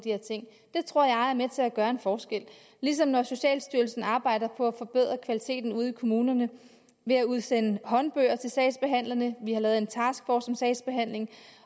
af tror jeg er med til at gøre en forskel ligesom når socialstyrelsen arbejder på at forbedre kvaliteten ude i kommunerne ved at udsende håndbøger til sagsbehandlerne vi har lavet en taskforce sagsbehandling